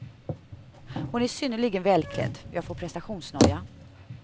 Hon är synnerligen välklädd, jag får prestationsnoja.